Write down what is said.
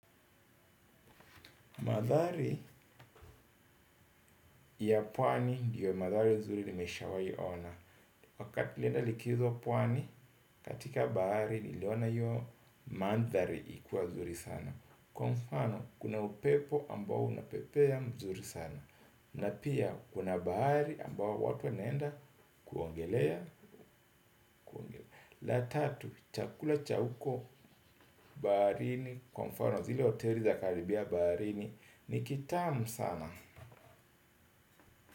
Madhari ya pwani ndiyo madhari nzuri nimesha wai ona. Wakati nilienda likizo pwani, katika bahari niliona hiyo mandhari ikuwa nzuri sana. Kwa mfano, kuna upepo ambao unapepea mzuri sana. Na pia, kuna bahari ambao watu wanaenda kuongelea. La tatu, chakula chahuko, bahari ni kwa mfano, zile hoteri zakaribia bahari ni ni kitamu sana.